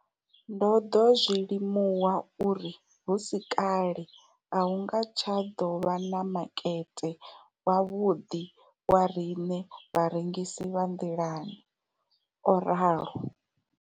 Ndo ḓo zwi limuwa uri hu si kale a hu nga tsha ḓo vha na makete wavhuḓi wa riṋe vharengisi vha nḓilani, o ralo.